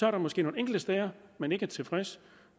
er måske nogle enkelte steder man ikke er tilfreds